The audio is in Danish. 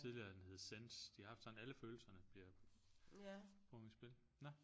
Tidligere har den heddet Sense de har haft sådan alle følelserne bliver komme i spil nå